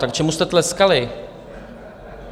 Tak čemu jste tleskali?